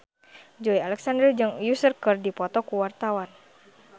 Joey Alexander jeung Usher keur dipoto ku wartawan